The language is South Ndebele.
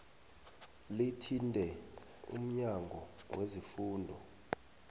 lithinte umnyango wezefundo